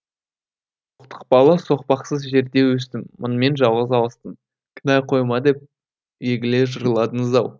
соқтықпалы соқпақсыз жерде өстім мыңмен жалғыз алыстым кінә қойма деп егіле жырладыңыз ау